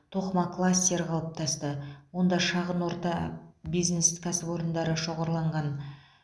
тоқыма кластері қалыптасты онда шағын орта бизнес кәсіпорындары шоғырланған